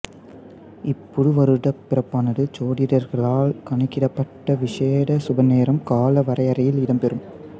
இப் புதுவருட பிறப்பானது ஜோதிடர்களால் கணிக்கப்பட்ட விஷேட சுபநேர கால வரையறையில் இடம்பெறும்